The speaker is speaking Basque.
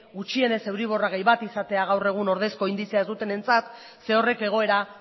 gutxienez euriborra gehi bat izatea gaur egun ordezko indizea ez dutenentzat zeren horrek egoera